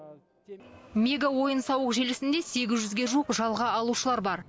мега ойын сауық желісінде сегіз жүзге жуық жалға алушылар бар